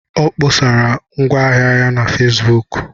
Ọ kpọsara ngwaahịa ya na Fesbuku